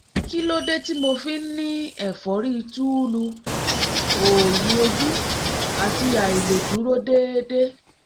kí ló dé tí mo fi ń ní ẹ̀fọ́rí túúlu òòyì ojú àti àìlèdúró déédé?